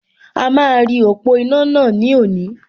A máa rí ọ̀pọ̀ iná náà ní òní